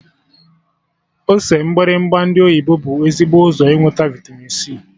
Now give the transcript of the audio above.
Ose mgbịrịgba ndị oyibo bụ ezigbo ụzọ inweta vịtamin c